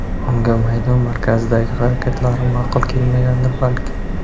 Unga maydon markazidagi harakatlarim ma’qul kelmagandir, balki.